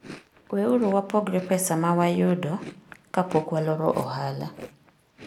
Weuru wapogre pesa ma wayudo kapok waloro ohala.